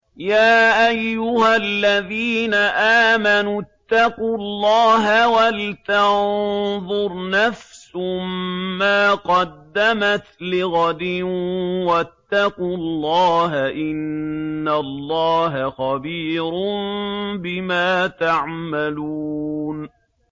يَا أَيُّهَا الَّذِينَ آمَنُوا اتَّقُوا اللَّهَ وَلْتَنظُرْ نَفْسٌ مَّا قَدَّمَتْ لِغَدٍ ۖ وَاتَّقُوا اللَّهَ ۚ إِنَّ اللَّهَ خَبِيرٌ بِمَا تَعْمَلُونَ